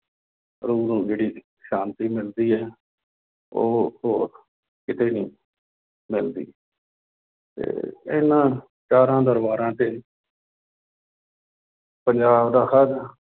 ਰੂਹ ਨੂੰ ਜਿਹੜੀ ਸ਼ਾਂਤੀ ਮਿਲਦੀ ਹੈ ਉਹ ਹੋਰ ਕਿਤੇ ਨੀ ਮਿਲਦੀ ਤੇ ਇਹਨਾਂ ਚਾਰਾਂ ਦਰਬਾਰਾਂ ਤੇ ਪੰਜਾਬ ਦਾ ਹਰ